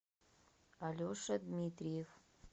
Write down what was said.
алеша дмитриев